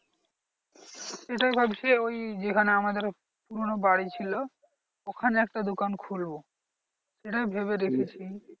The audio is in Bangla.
এটাই ভাবছি ওই যেখানে আমাদের পুরোনো বাড়ি ছিল ওখানে একটা দোকান খুলবো এটাই ভেবে রেখেছি।